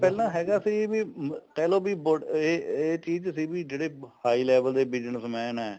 ਪਹਿਲਾ ਹੈਗਾ ਸੀ ਵੀ ਕਹਿਲੋ ਇਹ ਇਹ ਚੀਜ ਸੀ ਵੀ ਜਿਹੜੇ high level ਦੇ business man ਐ